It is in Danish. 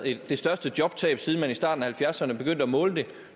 det største jobtab siden man i starten af halvfjerdserne begyndte at måle det